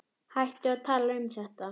Hættum að tala um þetta.